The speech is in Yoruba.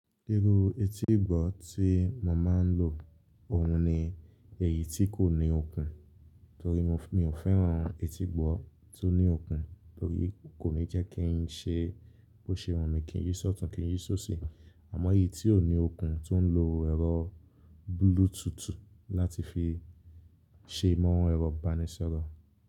Irú etígbọ̀ tí mo máa ń lò, òun ni èyí tí kò ní okùn, torí mi ò fẹ́ràn etígbọ̀ tó ní okùn, torí kò ní jẹ́ kí n ṣe bó ṣe wù mí, kí n yí sọ́tùn-ún, kí n yí sósì. Àmọ́ èyí tí ò ní okùn tó ń lo ẹ̀rọ Bluetooth láti fi ṣe mọ́ ẹ̀rọ ìbánisọ̀rọ̀.